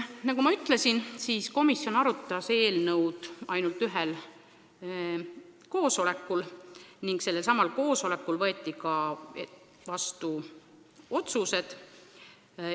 Nagu ma ütlesin, komisjon arutas eelnõu ainult ühel koosolekul ning sellelsamal koosolekul võeti ka vastu menetluslikud otsused.